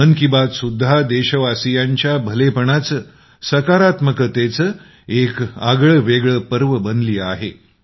मन की बात सुद्धा देशवासियांच्या भलेपणाचं सकारात्मकतेचं एक आगळंवेगळं पर्व बनली आहे